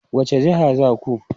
Wace jiha za ku?